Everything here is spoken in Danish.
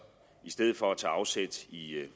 i stedet for at tage afsæt i